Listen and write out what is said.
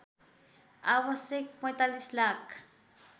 आवश्यक ४५ लाख